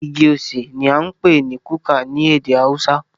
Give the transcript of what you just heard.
Igi osè ní a ń pé ní kuka ní ède haúsá.